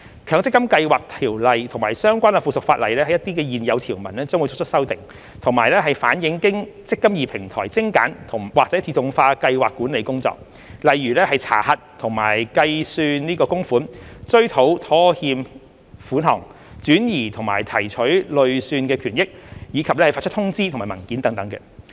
《強積金計劃條例》及相關附屬法例的一些現有條文將會作出修訂，以反映經"積金易"平台精簡或自動化的計劃管理工作，例如查核和計算供款、追討拖欠款項、轉移和提取累算權益，以及發出通知和文件等。